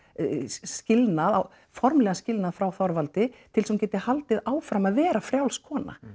skilnað formlegan skilnað frá Þorvaldi til þess að hún geti haldið áfram að vera frjáls kona